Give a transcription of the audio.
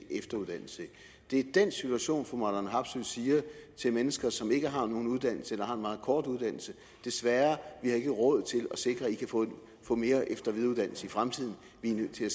efteruddannelse det er i den situation at fru marlene harpsøe siger til mennesker som ikke har nogen uddannelse eller som har en meget kort uddannelse desværre vi har ikke råd til at sikre at i kan få mere efter og videreuddannelse i fremtiden vi er nødt til at